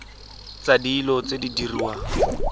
tsa dilo tse di diriwang